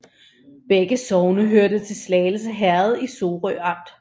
Begge sogne hørte til Slagelse Herred i Sorø Amt